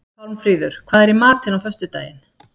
Pálmfríður, hvað er í matinn á föstudaginn?